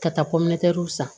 Ka taa san